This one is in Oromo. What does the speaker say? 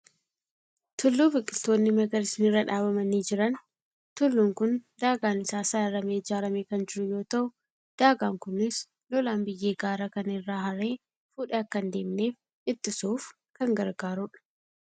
Tulluu biqiltoonni magariisni irra dhaabamanii jiran. Tulluun kun daagaan isaa sararamee ijaaramee kan jiru yoo ta'u, daagaan kunis lolaan biyyee gaara kana irraa haree fuudhee akka hin deemneef ittisuuf kan gargaarudha.